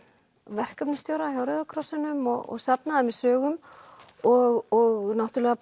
verkefnisstjóra hjá Rauða krossinum og safnaði að mér sögum og náttúrulega